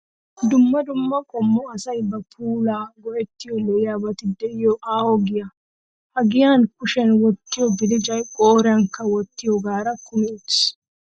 Dumma dumma qommo asayi ba puulawu go"ettiyo lo"iyaabati diyo aaho giyaa. Ha giyaan kushiyaan wottiyo belecayi, qooriyaageekka ti"ettiyoogaara kumi uttis.